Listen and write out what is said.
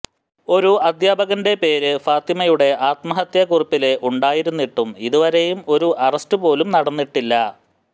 ഒരു അധ്യാപകൻറെ പേര് ഫാത്തിമയുടെ ആത്മഹത്യ കുറിപ്പില് ഉണ്ടായിരുന്നിട്ടും ഇതുവരെയും ഒരു അറസ്റ്റ് പോലും നടന്നിട്ടില്ല